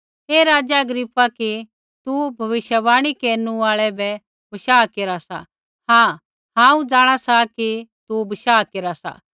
हे राज़ा अग्रिप्पा कि तू भविष्यवाणी केरनु आल़ा बै बशाह केरा सा हाँ हांऊँ जाँणा सा कि तू बशाह केरा सा